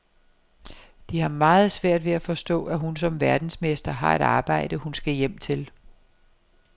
De har meget svært ved at forstå, at hun som verdensmester har et arbejde, hun skal hjem til.